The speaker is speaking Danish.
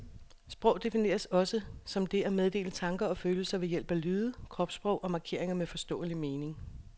Sprog defineres også som det at meddele tanker og følelser ved hjælp af lyde, kropsudtryk og markeringer med forståelig mening.